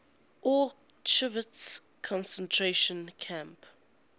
auschwitz concentration camp